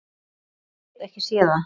Ég get ekki séð það.